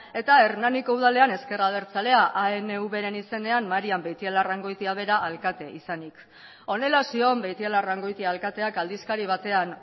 eta hernaniko udalean ezker abertzalea anvren izenean marian beitialarrangoitia bera alkate izanik honela zion beitialarrangoitia alkateak aldizkari batean